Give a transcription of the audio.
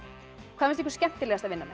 hvað finnst ykkur skemmtilegast að vinna